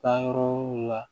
Taayɔrɔ la